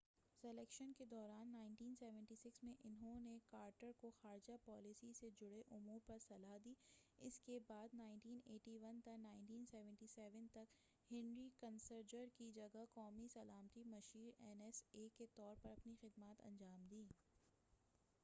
Selection کے دوران 1976 میں انہوں نے کارٹر کو خارجہ پالیسی سے جڑے امور پر صلاح دی، اس کے بعد 1977 تا1981 تک ہنری کسنجر کی جگہ قومی سلامتی مشیر این ایس اے کے طور پر اپنی خدمات انجام دیں۔